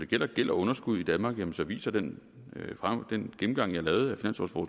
gælder gæld og underskud i danmark viser viser den den gennemgang jeg lavede